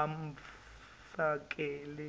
amfakele